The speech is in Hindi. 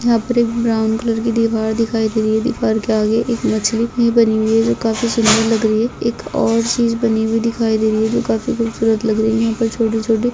यहा पर एक ब्राउन कलर की दीवार दिखाई दे रही है दीवार के आगे एक मछली भी बनी हुई है जो काफी सुंदर लग रही है एक और चीज बनी हुई दिखाई दे रही है जो काफी खूबसूरत लग रही है यहा पर छोटी छोटी--